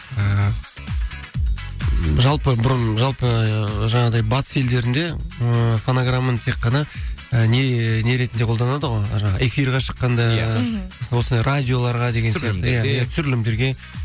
ііі жалпы бұрын жалпы жаңағыдай батыс елдерінде ыыы фонограммамен тек қана не ретінде қолданады ғой жаңағы эфирге шыққанда иә мхм осындай радиоларға деген сияқты түсірілімдерге